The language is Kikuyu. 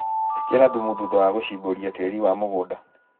ĩkĩra thumu thutha wa gũcimbũria tĩri wa mũgunda.